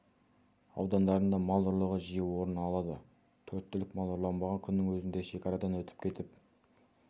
аудандарында мал ұрлығы жиі орын алады төрт түлік мал ұрланбаған күннің өзінде шекарадан өтіп кетіп